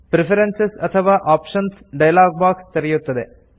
preferences ಅಥವಾ options dialog box ತೆರೆಯುತ್ತದೆ